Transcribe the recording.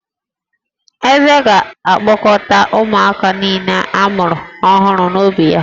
Eze ga-akpọkọta ụmụaka niile a mụrụ ọhụrụ n’obí ya